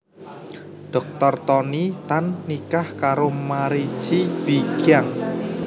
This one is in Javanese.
Dr Tony Tan nikah karo Mary Chee Bee Kiang